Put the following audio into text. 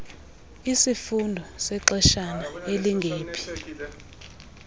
isifundo sexeshana elingephi